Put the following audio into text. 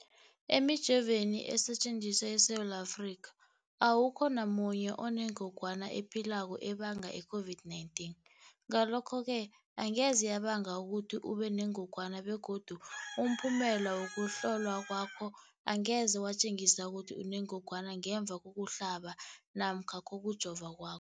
Emijoveni esetjenziswa eSewula Afrika, awukho namunye onengog wana ephilako ebanga i-COVID-19. Ngalokho-ke angeze yabanga ukuthi ubenengogwana begodu umphumela wokuhlolwan kwakho angeze watjengisa ukuthi unengogwana ngemva kokuhlaba namkha kokujova kwakho.